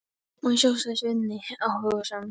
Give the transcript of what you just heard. Má ég sjá, sagði Svenni áhugasamur.